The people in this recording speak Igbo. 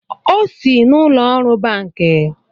Ọ sị n’ụlọọrụ banki